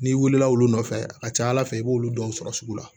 N'i wulila olu nɔfɛ a ka ca ala fɛ i b'olu dɔw sɔrɔ sugu la